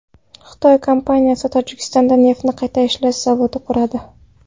Xitoy kompaniyasi Tojikistonda neftni qayta ishlash zavodi quradi.